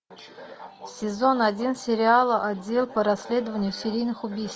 сезон один сериала отдел по расследованию серийных убийств